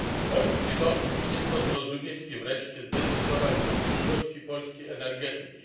Polski rząd powinien to zrozumieć i wreszcie zdecydować o przyszłości polskiej energetyki.